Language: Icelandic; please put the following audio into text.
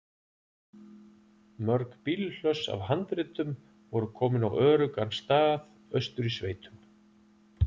Mörg bílhlöss af handritum voru komin á öruggan stað austur í sveitum.